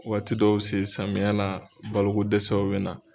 Waati dɔw bi se samiya la baloko dɛsɛw bɛ na.